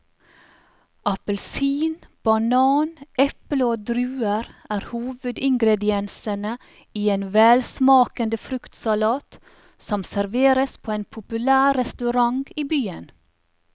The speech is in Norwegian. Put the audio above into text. Appelsin, banan, eple og druer er hovedingredienser i en velsmakende fruktsalat som serveres på en populær restaurant i byen.